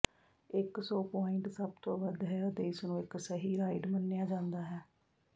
ਇੱਕ ਸੌ ਪੁਆਇੰਟ ਸਭ ਤੋਂ ਵੱਧ ਹੈ ਅਤੇ ਇਸਨੂੰ ਇੱਕ ਸਹੀ ਰਾਈਡ ਮੰਨਿਆ ਜਾਂਦਾ ਹੈ